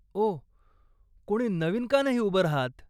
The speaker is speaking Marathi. ओह, कोणी नवीन का नाही उभं राहत?